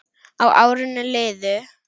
Og árin liðu.